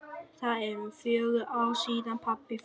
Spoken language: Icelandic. Það eru fjögur ár síðan pabbi fór.